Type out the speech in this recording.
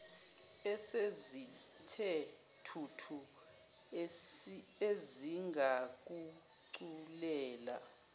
esezithe thuthu ezingakuculela